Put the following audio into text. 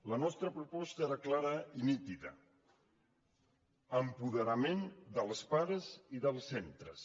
la nostra proposta era clara i nítida apoderament dels pares i dels centres